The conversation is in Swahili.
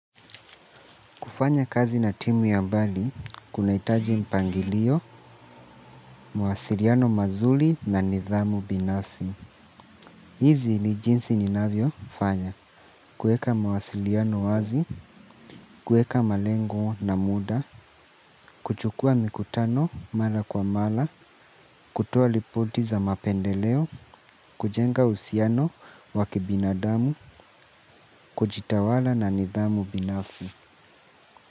Kufanya kazi na timu ya mbali, kunahitaji mpangilio, mawasiliano mazuri na nidhamu binafsi. Hizi ni jinsi ninavyo fanya. Kuweka mwasiliano wazi, kuweka malengo na muda, kuchukua mikutano mara kwa mara, kutoa ripoti za mapendeleo, kujenga uhusiano wa kibinadamu, kujitawala na nidhamu binafsi.